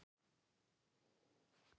Sigurður: Alla vega spennandi?